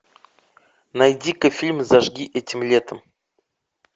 найди ка фильм зажги этим летом